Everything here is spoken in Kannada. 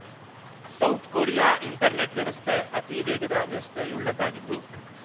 ಸೌತ್ ಕೊರಿಯಾ ಇಂಟರ್‌ನೆಟ್ ವ್ಯವಸ್ಥೆ ಅತಿ ವೇಗದ ವ್ಯವಸ್ಥೆಯುಳ್ಳದ್ದಾಗಿದ್ದು